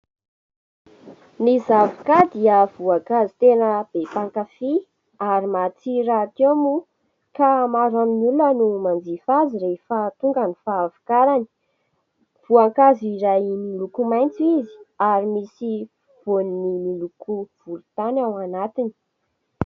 Ny zavoka dia voankazo tena be mpakafy ary matsiro rahateo moa ka maro amin'ny olona no manjifa azy rehefa tonga ny fahavokarany. Voankazo iray miloko maitso izy ary misy voany miloko volontany ao anatiny.